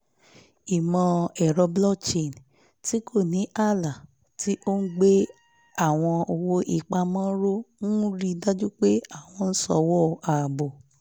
ìmọ̀-ẹ̀rọ blockchain tí kò ní ààlà tí ó ń gbé àwọn owó-ìpamọ́ ró ń rí i dájú pé àwọn ìsòwò ààbò